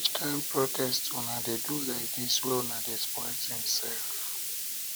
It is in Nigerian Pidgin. which kind protest una dey do lai dis wey una dey spoil tins sef